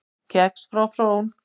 Kex frá Frón